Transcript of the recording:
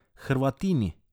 Hrvatini.